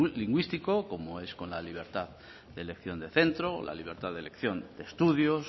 lingüístico como es con la libertad de elección de centro o la libertad de elección de estudios